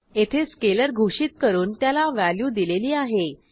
येथे स्केलर घोषित करून त्याला व्हॅल्यू दिलेली आह